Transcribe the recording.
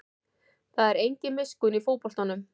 Það er engin miskunn í fótboltanum